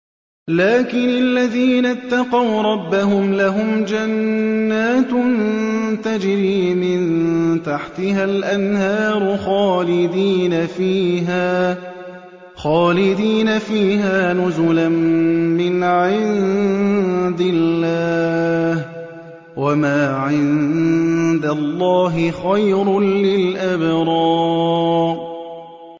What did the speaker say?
لَٰكِنِ الَّذِينَ اتَّقَوْا رَبَّهُمْ لَهُمْ جَنَّاتٌ تَجْرِي مِن تَحْتِهَا الْأَنْهَارُ خَالِدِينَ فِيهَا نُزُلًا مِّنْ عِندِ اللَّهِ ۗ وَمَا عِندَ اللَّهِ خَيْرٌ لِّلْأَبْرَارِ